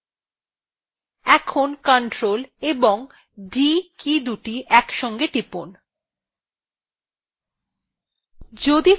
এখন ctrl এবং d কীদুটি একসাথে টিপুন